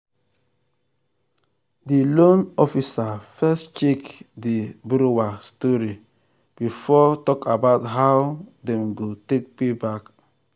di loan officer first check di borrower story before talk about how how dem go take pay back.